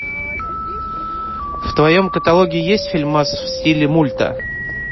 в твоем каталоге есть фильмас в стиле мульта